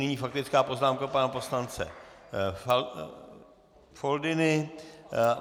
Nyní faktická poznámka pana poslance Foldyny.